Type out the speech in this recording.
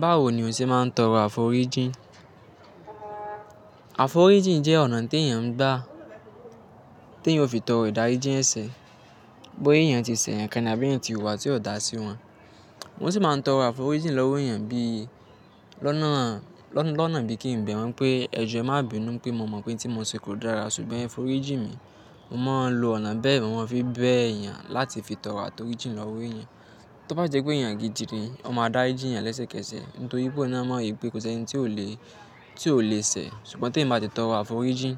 Báwo ni o ṣe máa ń tọrọ àforíjìn? Àforíjìn jẹ́ ọ̀nà tí èèyàn ń gbà, tí èèyàn ó fi tọrọ ìdáríjì ẹ̀sẹ̀, bóyá èèyàn ti ṣẹ̀ eeyan kan àbí èèyàn ti o hùwà tí ò dá sí wọn. Wọn sì máa ń tọrọ àforíjìn lọ́wọ́ èèyàn bí i lọ́nà, lọ́nà bí kí ń bẹ̀ wọ́n pé ẹjọ́ ẹ má bi inú pé mo mọ̀ pé tí mo ṣe kò dára ṣùgbọ́n foríjìn mi. Mo máa ń lo ọ̀nà bẹ́ẹ̀ mo máa ń fi bẹ èèyàn láti fi tọrọ àforíjìn lọ́wọ́ èèyàn. To bá ṣe pé èèyàn gidi ni, wọ́n máa dári jì yàn lẹ́sẹ̀kẹsẹ̀. Nítorí pé ọ̀un naa mọ́ wi pé kò sí ẹni tí ò le, tí ò le ṣẹ̀. Ṣùgbọ́n tí ẹ̀eyan báa tì tọrọ àforíjìn